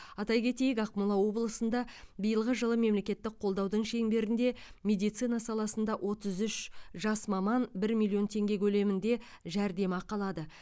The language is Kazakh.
атай кетейік ақмола облысында биылғы жылы мемлекеттік қолдаудың шеңберінде медицина саласында отыз үш жас маман бір миллион теңге көлемінде жәрдемақы алады